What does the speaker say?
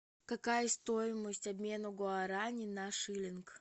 какая стоимость обмена гуарани на шиллинг